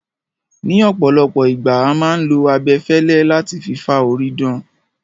Ní ọ̀pọ̀lọpọ̀ ìgbà, a máà ń lo abẹfẹlẹ láti fi fá orí dan